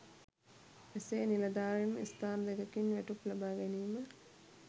එසේ නිලධාරින් ස්ථාන දෙකකින් වැටුප් ලබා ගැනීම